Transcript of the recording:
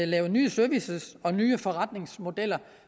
lave nye services og nye forretningsmodeller